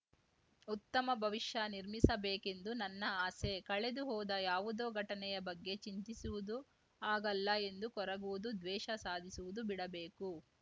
ಉತ್ತಮ ಭವಿಷ್ಯ ನಿರ್ಮಿಸಬೇಕೆಂದು ನನ್ನ ಆಸೆ ಕಳೆದು ಹೋದ ಯಾವುದೋ ಘಟನೆಯ ಬಗ್ಗೆ ಚಿಂತಿಸುವುದು ಆಗಲ್ಲ ಎಂದು ಕೊರಗುವುದು ದ್ವೇಷ ಸಾಧಿಸುವುದು ಬಿಡಬೇಕು